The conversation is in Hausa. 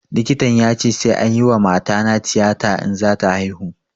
Likitan ya ce sai anyi wa matana tiyata in za ta haihu